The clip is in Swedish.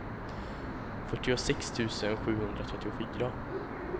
fyrtiosex tusen sjuhundratrettiofyra